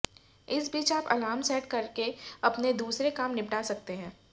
इस बीच आप अलार्म सेट करके अपने दूसरे काम निपटा सकते हैं